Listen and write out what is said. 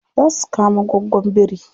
Za su kama goggon biri.